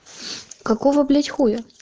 какова блять хуя